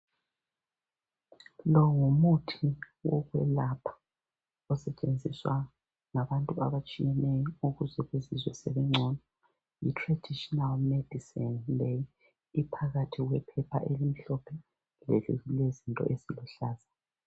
Lo ngumuthi wokwelapha osetshenziswa ngabantu abatshiyeneyo ukuthi bazizwe sebengcono. Yitraditional medicine leyi iphakathi kwephepha elimhlophe lelilezinto eziluhlaza.